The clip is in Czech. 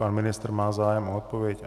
Pan ministr má zájem o odpověď?